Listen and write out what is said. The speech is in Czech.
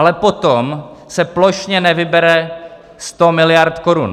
Ale potom se plošně nevybere 100 miliard korun.